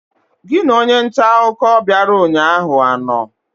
Gị na onye nta akụkọ bịara ụnyaahụ anọ?